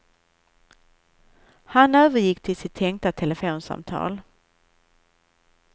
Han övergick till sitt tänkta telefonsamtal.